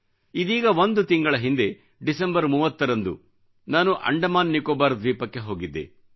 ಇದೀಗ ಒಂದು ತಿಂಗಳ ಹಿಂದೆ ಡಿಸೆಂಬರ್ 30 ರಂದು ನಾನು ಅಂಡಮಾನ್ ನಿಕೋಬಾರ್ ದ್ವೀಪಕ್ಕೆ ಹೋಗಿದ್ದೆ